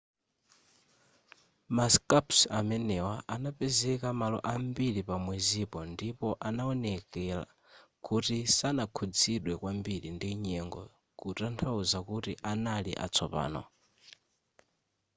ma scarps amenewa anapezeka malo ambiri pa mwezipo ndipo anaoneka kuti sanakhuzidwe kwambiri ndi nyengo kutanthauza kuti anali atsopano